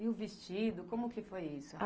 E o vestido, como que foi isso?